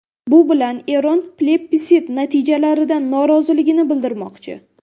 Bu bilan Eron plebissit natijalaridan noroziligini bildirmoqchi.